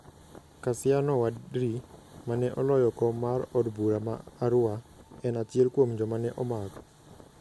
Kassiano Wadri, ma ne oloyo kom mar od bura ma Arua, en achiel kuom joma ne omak.